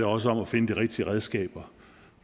også om at finde de rigtige redskaber